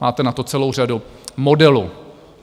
Máte na to celou řadu modelů.